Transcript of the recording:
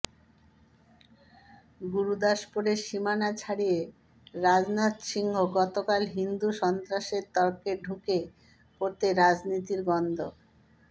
গুরুদাসপুরের সীমানা ছাড়িয়ে রাজনাথ সিংহ গতকাল হিন্দু সন্ত্রাসের তর্কে ঢুকে পড়তেই রাজনীতির গন্ধ